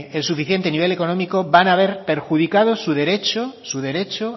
el suficiente nivel económico van a ver perjudicado su derecho su derecho